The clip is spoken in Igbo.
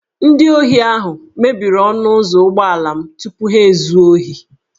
Ndị ohi ahụ mebiri ọnụ ụzọ ụgbọala m tupu ha ezuo ohi